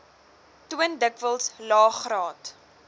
toon dikwels laegraad